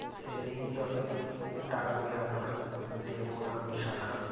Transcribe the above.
সেদিন যতই ডাকবে আমায় দেবনা আমি সাড়া